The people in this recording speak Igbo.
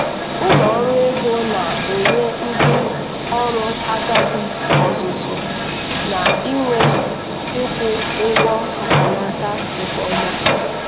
ụlọ ọrụ ego na-enye ndị ọrụ agadi ọzụzụ na nyiwe ịkwụ ụgwọ mkpanaka nke ọma.